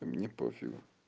мне пофигу